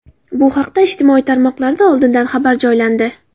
Bu haqda ijtimoiy tarmoqlarda oldindan xabar joylandi.